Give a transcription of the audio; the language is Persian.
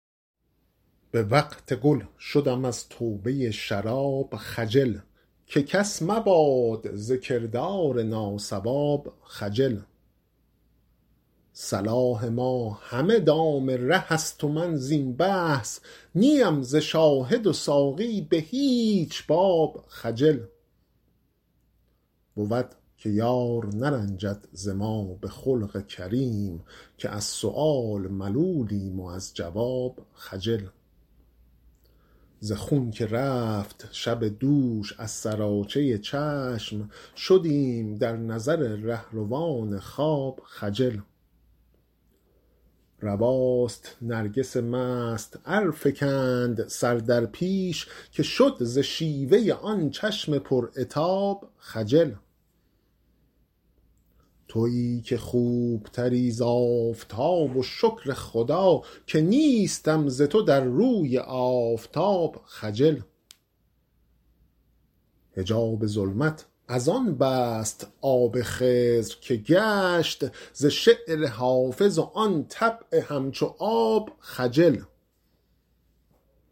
به وقت گل شدم از توبه شراب خجل که کس مباد ز کردار ناصواب خجل صلاح ما همه دام ره است و من زین بحث نی ام ز شاهد و ساقی به هیچ باب خجل بود که یار نرنجد ز ما به خلق کریم که از سؤال ملولیم و از جواب خجل ز خون که رفت شب دوش از سراچه چشم شدیم در نظر رهروان خواب خجل رواست نرگس مست ار فکند سر در پیش که شد ز شیوه آن چشم پر عتاب خجل تویی که خوب تری ز آفتاب و شکر خدا که نیستم ز تو در روی آفتاب خجل حجاب ظلمت از آن بست آب خضر که گشت ز شعر حافظ و آن طبع همچو آب خجل